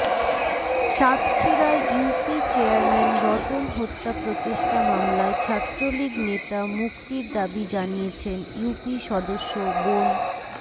সাতক্ষীরায় UP chairman Ratan হত্যা প্রচেষ্টা মামলায় ছাত্রলীগ নেতা মুক্তির দাবি জানিয়েছেন ইউপি সদস্য বোন